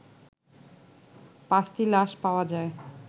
পাঁচটি লাশ পাওয়া যায়